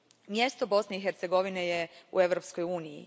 Mjesto Bosne i Hercegovine je u Europskoj uniji.